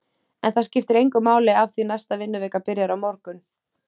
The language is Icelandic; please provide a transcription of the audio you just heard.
En það skiptir engu máli af því næsta vinnuvika byrjar á morgun.